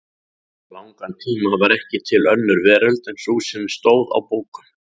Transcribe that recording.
langan tíma var ekki til önnur veröld en sú sem stóð á bókum.